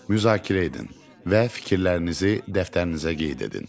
Müzakirə edin və fikirlərinizi dəftərinizə qeyd edin.